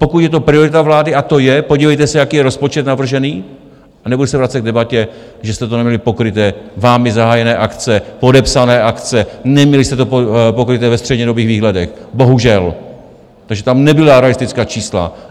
Pokud je to priorita vlády, a to je, podívejte se, jaký je rozpočet navržený, a nebudeme se vracet k debatě, že jste to neměli pokryté, vámi zahájené akce, podepsané akce, neměli jste to pokryté ve střednědobých výhledech, bohužel, takže tam nebyla realistická čísla.